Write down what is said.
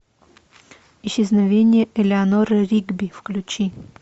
исчезновение элеанор ригби включи